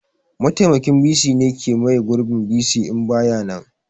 Mataimakin bc shine ke maye gurbin bc in baya nan